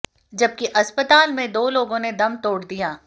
जबकि अस्पताल में दो लोगों ने दम तोड़ दिया